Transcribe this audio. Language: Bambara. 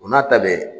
O n'a ta bɛɛ